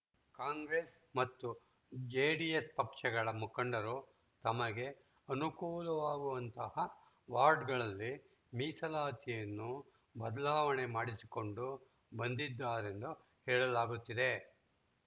ಕಾಂಗ್ರೆಸ್‌ ಮತ್ತು ಜೆಡಿಎಸ್‌ ಪಕ್ಷಗಳ ಮುಖಂಡರು ತಮಗೆ ಅನುಕೂಲವಾಗುವಂತಹ ವಾರ್ಡ್‌ಗಳಲ್ಲಿ ಮೀಸಲಾತಿಯನ್ನು ಬದಲಾವಣೆ ಮಾಡಿಸಿಕೊಂಡು ಬಂದಿದ್ದಾರೆಂದು ಹೇಳಲಾಗುತ್ತಿದೆ